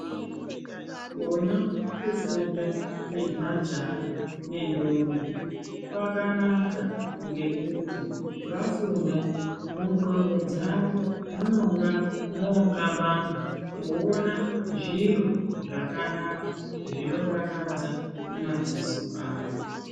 Kona kufunda kwe majaha ne ndombi kwakanaka ngekuti vafunda mu ndxondo dzavo munonga mo kabanga woona zviro zvakanaka zvino dakadza mu madziso avo.